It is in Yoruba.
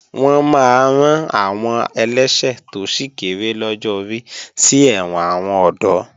Wọ́n máa rán àwọn ẹlẹ́ṣẹ̀ tó sì kéré lọ́jọ́ orí sí ẹ̀wọ̀n àwọn ọ̀dọ́